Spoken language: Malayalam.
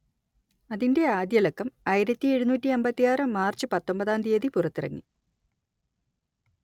അതിന്റെ ആദ്യലക്കം ആയിരത്തിയെഴുന്നൂറ്റിയമ്പത്തിയാറ് മാർച്ച് പത്തൊമ്പതാം തിയതി പുറത്തിറങ്ങി